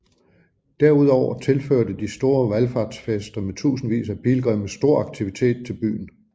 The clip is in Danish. Derudover tilførte de store valfartsfester med tusindvis af pilgrimme stor aktivitet til byen